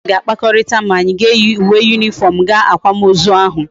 Ndi klas ga akpakorita ma anyi ga eyi uwe uniform gaa akwam ozu ahu